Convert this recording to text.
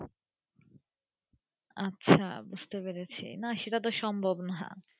আচ্ছা বুজতে পড়েছি না সেটা তো সম্ভব না।